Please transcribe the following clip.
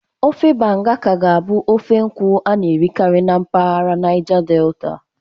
Ofe Banga ka ga-abụ ofe nkwụ a na-erikarị na mpaghara Naija Delta.